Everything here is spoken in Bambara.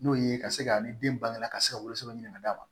N'o ye ka se ka ni den bangen ka se woloson minɛ ka d'a ma